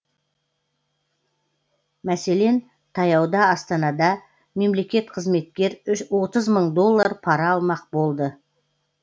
мәселен таяуда астанада мемлекетқызметкер отыз мың доллар пара алмақ болды